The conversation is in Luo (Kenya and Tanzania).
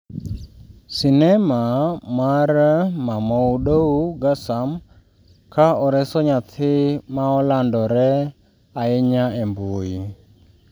Sinema mar Mamoudou Gassam ka oreso nyathi ne olandore ahinya e mbui